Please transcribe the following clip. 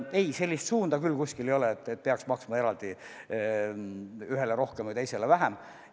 Aga sellist suunda küll kuskil ei ole, et peaks maksma ühele rohkem või teisele vähem.